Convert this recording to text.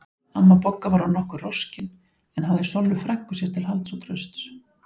Amma Bogga var orðin nokkuð roskin en hafði Sollu frænku sér til halds og trausts.